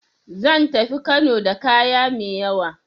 Zan tafi Kano da kaya mai yawa.